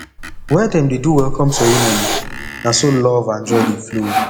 where dem dey do welcome ceremony na so love and joy dey flow